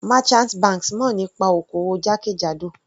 Merchant banks mọ̀ nípa oko-òwò jákèjádò.